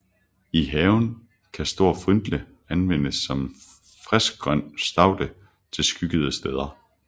I haven kan Stor Frytle anvendes som en friskgrøn staude til skyggede steder